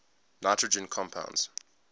nitrogen compounds